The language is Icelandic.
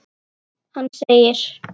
Hann segir: